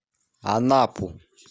анапу